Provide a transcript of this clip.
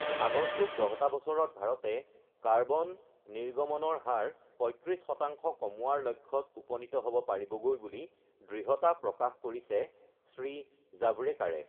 আগন্তুক দহটা বছৰত ভাৰতে কাৰ্বন নিৰ্গমণৰ হাৰ ৩৫শতাংশ কমোৱাৰ লক্ষ্যত উপনীত হ ব পাৰিবগৈ বুলি দৃঢ়তা প্ৰকাশ কৰিছে শ্ৰী জাৱড়েকাৰে